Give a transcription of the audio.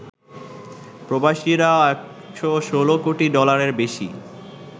প্রবাসীরা ১১৬ কোটি ডলারের বেশি